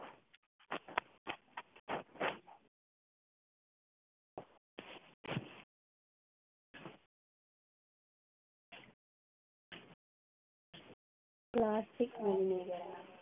plastic മലിനീകരണം